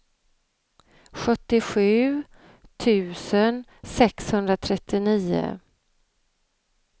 sjuttiosju tusen sexhundratrettionio